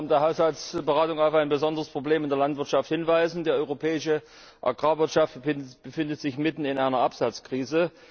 Ich möchte im Rahmen der Haushaltsberatungen auf ein besonderes Problem in der Landwirtschaft hinweisen Die europäische Agrarwirtschaft befindet sich mitten in einer Absatzkrise.